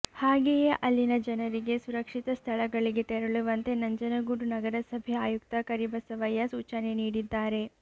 ಹಾಗೆಯೇ ಅಲ್ಲಿನ ಜನರಿಗೆ ಸುರಕ್ಷಿತ ಸ್ಥಳಗಳಿಗೆ ತೆರಳುವಂತೆ ನಂಜನಗೂಡು ನಗರಸಭೆ ಆಯುಕ್ತ ಕರಿಬಸವಯ್ಯ ಸೂಚನೆ ನೀಡಿದ್ದಾರೆ